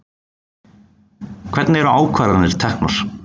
Hvernig eru ákvarðanir teknar?